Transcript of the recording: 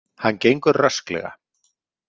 Hann gengur rösklega.